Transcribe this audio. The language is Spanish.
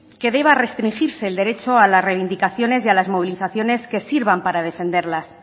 que deba restringirse el derecho a las reivindicaciones y a las movilizaciones que sirvan para defenderlas